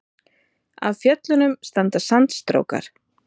Af fjöllunum standa sandstrókar.